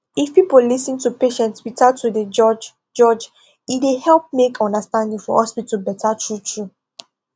if people lis ten to patients without to dey judge judge e dey help make understanding for hospital better truetrue